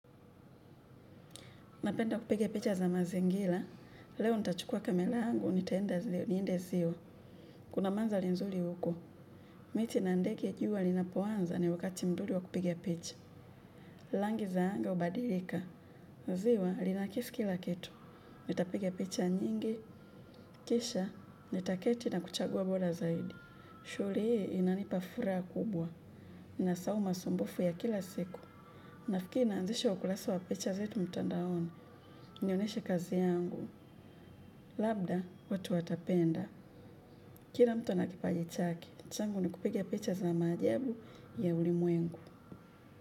Napenda kupiga picha za mazingira, leo nitachukua kamela yangu, nitaenda zio, niende zio, kuna manza lenzuli huko. Miti na ndeke jua linapoanza ni wakati mzuri wa kupiga picha, langi za anga ubadilika. Njiwa, linakisi kila kitu, nitapiga picha nyingi, kisha, nitaketi na kuchagua bola zaidi. Shugli, inanipafuraha kubwa, nasoma sumbufu ya kila siku. Nafikiria nzisho ukulasa wa picha zetu mtandaoni, nioneshe kazi yangu, labda watu watapenda. Kila mtu ana kipaji chaki, changu ni kupiga picha za maajabu ya ulimuengu.